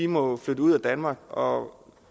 må flytte ud af danmark og